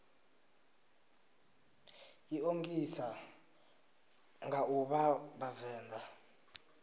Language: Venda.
ḓiṱongisa nga u vha vhavenḓa